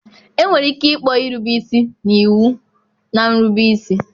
Enwere ike ịkpọ irube isi na iwu na nrube isi.